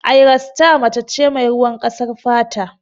Ayra sita mace ce mai ruwan ƙasar fata.